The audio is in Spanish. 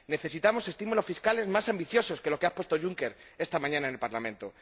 Necesitamos estímulos fiscales más ambiciosos que los que ha expuesto Juncker esta mañana en el Parlamento.